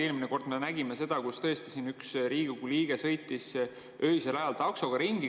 Eelmine kord me nägime seda, kui tõesti üks Riigikogu liige sõitis öisel ajal taksoga ringi.